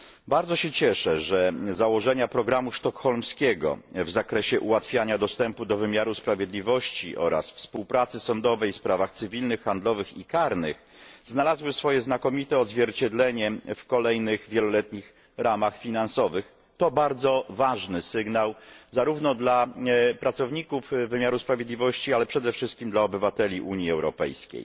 Bardzo się cieszę, że założenia programu sztokholmskiego w zakresie ułatwiania dostępu do wymiaru sprawiedliwości oraz współpracy sądowej w sprawach cywilnych, handlowych i karnych znalazły swoje znakomite odzwierciedlenie w kolejnych wieloletnich ramach finansowych to bardzo ważny sygnał, zarówno dla pracowników wymiaru sprawiedliwości, ale przede wszystkim dla obywateli Unii Europejskiej.